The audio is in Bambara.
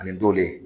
Ani dɔlen